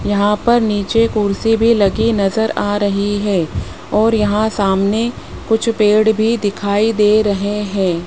यहां पर नीचे कुर्सी भी लगी नजर आ रही है और यहां सामने कुछ पेड़ भी दिखाई दे रहे हैं।